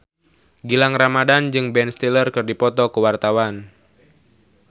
Gilang Ramadan jeung Ben Stiller keur dipoto ku wartawan